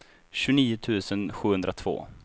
tjugonio tusen sjuhundratvå